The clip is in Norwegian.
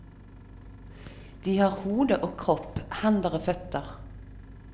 De har hode og kropp, hender og føtter.